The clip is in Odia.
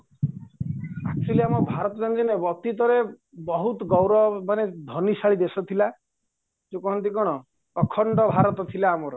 actually ଆମ ଭାରତ ଯେମିତି ଅତୀତରେ ବହୁତ ଗୌରବ ମାନେ ଧନୀସାଳି ଦେଶ ଥିଲା ଯୋଉ କହନ୍ତି କ'ଣ ଅଖଣ୍ଡ ଭାରତ ଥିଲା ଆମର